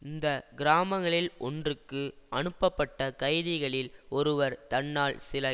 இந்த கிராமங்களில் ஒன்றுக்கு அனுப்பப்பட்ட கைதிகளில் ஒருவர் தன்னால் சில